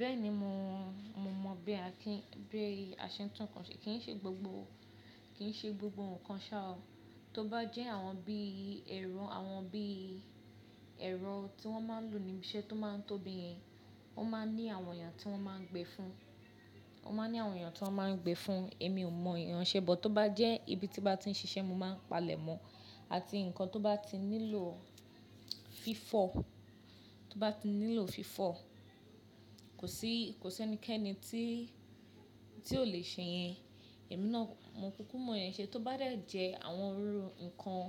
Bẹ́ẹ̀ni mo mọ̀ bí a ṣe ń tún ǹkan ṣe, kì ń ṣe gbogbo ǹkan ṣa o. Tó bá jẹ́ àwọn bíi ẹ̀rọ tí wọ́n máa ń lò níbi iṣẹ́ tó máa ń tóbi, ó máa ń ní àwọn èèyàn tó máa ń gbé fun, èmi ò mọ ìyen ṣẹ́ bọ̀. Tó bá jẹ́ ibi tí bá ti ń ṣiṣẹ́, mo máa ń palẹ̀ mọ́. Àti nǹkan tó bá ti nílò fífọ̀, kò sí ẹnikẹ́ni tí o le ṣe yẹn, èmi náà mò kúkú mọ yẹn ṣe. Tó bá dẹ̀ jẹ́ àwọn irú nǹkan